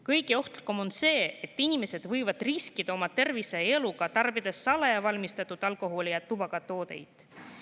Kõige ohtlikum on see, et inimesed riskivad oma tervise ja eluga, tarbides salaja valmistatud alkoholi ja tubakatooteid.